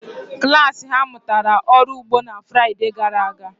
Klas ha mụtara ọrụ ugbo na Fraịde gara aga.